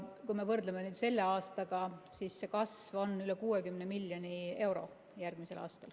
Kui me võrdleme selle aastaga, siis kasv järgmisel aastal on üle 60 miljoni euro.